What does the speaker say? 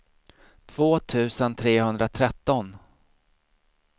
två tusen trehundratretton